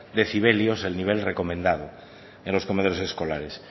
decibelios el nivel recomendando en los comedores escolares